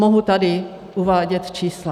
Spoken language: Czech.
Mohu tady uvádět čísla.